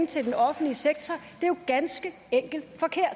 til den offentlige sektor er jo ganske enkelt forkert